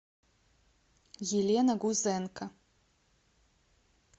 елена гузенко